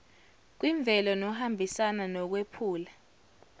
kwimvelo nohambisana nokwephula